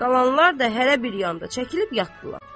Qalanlar da hərə bir yanda çəkilib yatdılar.